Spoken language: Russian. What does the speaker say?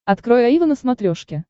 открой аива на смотрешке